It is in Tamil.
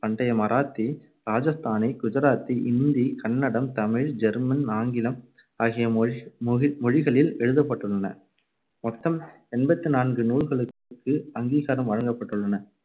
பண்டைய மராத்தி, ராஜஸ்தானி, குஜராத்தி, இந்தி, கன்னடம், தமிழ், ஜெர்மன், ஆங்கிலம் ஆகிய மொகி~ மொழிகளில் எழுதப்பட்டுள்ளன. மொத்தம் எண்பத்து நான்கு நூல்களுக்கு அங்கீகாரம் வழங்கப்பட்டுள்ளன. .